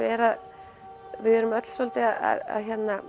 er að við erum öll svolítið að